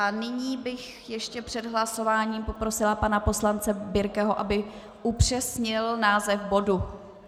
A nyní bych ještě před hlasováním poprosila pana poslance Birkeho, aby upřesnil název bodu.